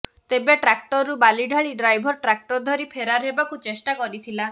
ତେବେ ଟ୍ରାକ୍ଟରରୁ ବାଲି ଢାଳି ଡ୍ରାଇଭର ଟ୍ରାକ୍ଟର ଧରି ଫେରାର ହେବାକୁ ଚେଷ୍ଟା କରିଥିଲା